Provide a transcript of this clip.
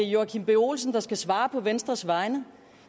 joachim b olsen der skal svare på venstres vegne